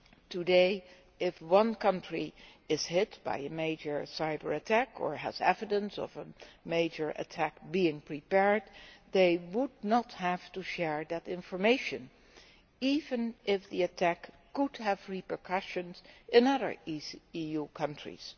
Today, if one country is hit by a major cyber attack or has evidence of a major attack being prepared, they would not have to share that information even if the attack could have repercussions in other EU countries.